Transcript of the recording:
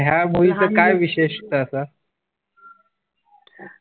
तर ह्या मूवी च काय विशेष